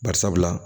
Bari sabula